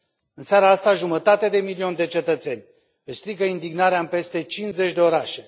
În seara aceasta, jumătate de milion de cetățeni își strigă indignarea în peste 50 de orașe.